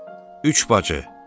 Üç bacı.